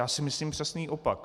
Já si myslím přesný opak.